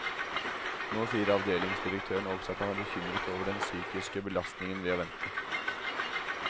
Nå sier avdelingsdirektøren også at han er bekymret over den psykiske belastningen ved å vente.